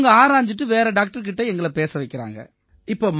அவங்க ஆராஞ்சுட்டு வேற டாக்டர் கிட்ட எங்களைப் பேச வைக்கறாங்க